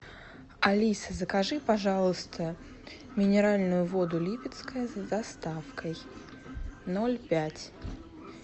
алиса закажи пожалуйста минеральную воду липецкая с доставкой ноль пять